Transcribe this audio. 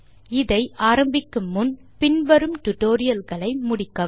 tutorial ஐ ஆரம்பிக்கும் முன் பின் வரும் டுடோரியல்களை முடிக்கவும்